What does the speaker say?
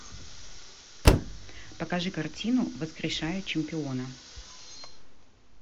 покажи картину воскрешая чемпиона